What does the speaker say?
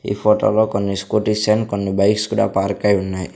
ఈ ఫోటో లో కొన్ని స్కూటీస్ అండ్ కొన్ని బైక్స్ కూడా పార్కై ఉన్నాయి.